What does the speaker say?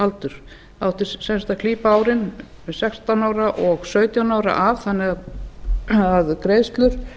það átti sem sagt að klípa árin sextán og sautján ára af þannig að greiðslur